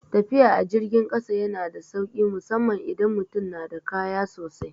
Tafiya a jirgin kasa yana da sauki musamman idan mutum na da kaya sosai.